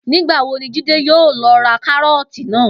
Nígbà wo ni Jídé yóò lo̩ ra káró̩ò̩tì náà?